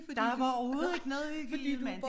Der er bare overhovedet ikke noget hygge i det mand